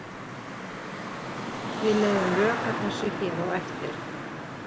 Við leiðum rök að þessu hér á eftir.